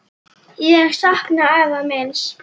Ég sakna afa míns.